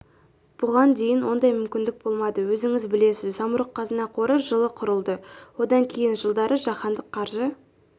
бұған дейін ондай мүмкіндік болмады өзіңіз білесіз самұрық-қазына қоры жылы құрылды одан кейін жылдары жаһандық қаржы